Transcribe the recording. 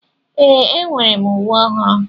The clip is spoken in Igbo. Ee, enwere m uwe ọhụrụ.